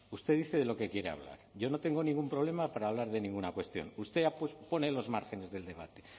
usted dice de lo que quiere hablar yo no tengo ningún problema para hablar de ninguna cuestión usted pone los márgenes del debate